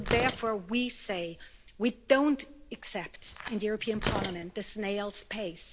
And so therefore, we say we don't accept, in the European Parliament, this snail's pace.